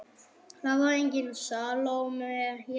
Það var engin Salóme hér.